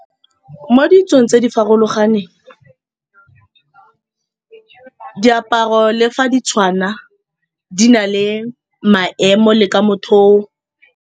Mo ditsong tse di farologaneng diaparo le fa ditshwana, di na le maemo le ka motho o.